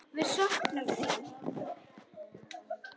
Við söknum þín.